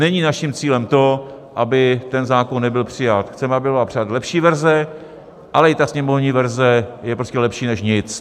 Není naším cílem to, aby ten zákon nebyl přijat, chceme, aby byla přijata lepší verze, ale i ta sněmovní verze je prostě lepší než nic.